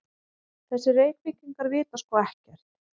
Þessir Reykvíkingar vita sko ekkert!